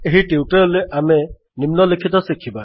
ଏହି ଟ୍ୟୁଟୋରିଆଲ୍ ରେ ଆମେ ନିମ୍ନଲିଖିତ ଶିଖିବା